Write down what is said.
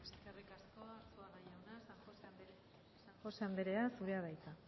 eskerrik asko arzuaga jauna san josé anderea zurea da hitza